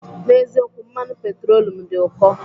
N'eziokwu, mmanụ petrolum dị ụkọ.